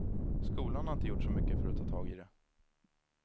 Skolan har inte gjort så mycket för att ta tag i det.